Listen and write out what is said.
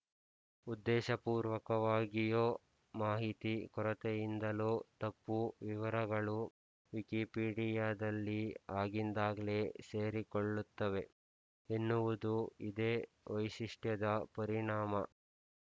ಉದ್ದೇಶಪೂರ್ವಕವಾಗಿಯೋ ಮಾಹಿತಿ ಕೊರತೆಯಿಂದಲೋ ತಪ್ಪು ವಿವರಗಳು ವಿಕಿಪೀಡಿಯದಲ್ಲಿ ಆಗಿಂದಾಗ್ಲೇ ಸೇರಿಕೊಳ್ಳುತ್ತವೆ ಎನ್ನುವುದು ಇದೇ ವೈಶಿಷ್ಟ್ಯದ ಪರಿಣಾಮ